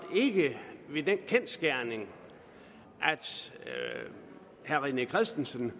ikke ved den kendsgerning at herre rené christensen